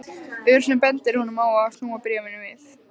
Ör sem bendir honum á að snúa bréfinu við.